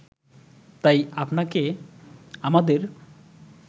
তাই আপনাকে আমাদের